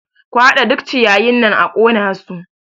Ku haɗa duk ciyayin nan a ƙona su!